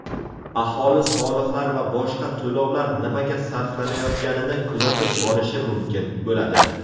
Aholi soliqlar va boshqa to‘lovlar nimaga sarflanayotganini kuzatib borishi mumkin bo‘ladi.